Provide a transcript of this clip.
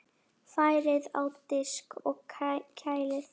Færið á disk og kælið.